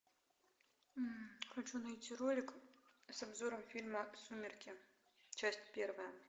хочу найти ролик с обзором фильма сумерки часть первая